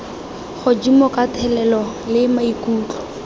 godimo ka thelelo le maikutlo